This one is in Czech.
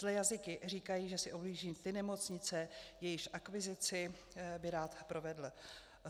Zlé jazyky říkají, že si obhlíží ty nemocnice, jejichž akvizici by rád provedl.